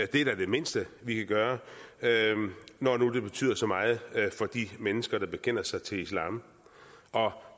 det er da det mindste vi kan gøre når det nu betyder så meget for de mennesker der bekender sig til islam og